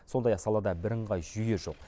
сондай ақ салада бірыңғай жүйе жоқ